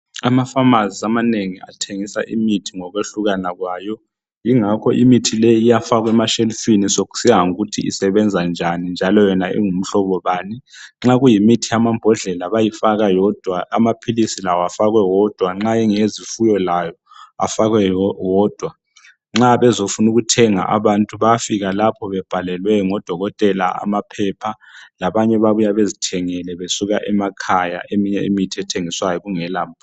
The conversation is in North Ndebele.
Amafamasi amanengi athengisa imithi ngokwehlukana kwayo ingakho imithi le iyafakwa emashelufini sokusiya ngokuthi isebenza njani njalo yona ingumhlobo bani nxa kuyimithi yamambodlela bayayifaka yodwa amaphilisi lawo afakwe wodwa nxa engezifuyo lawo afakwe wodwa nxa bezofuna ukuthengaabantu bayafika lapha bebhalelwe ngodokotela amaphepha labanye babuya bezithengele besuka emakhaya kungelaphepha.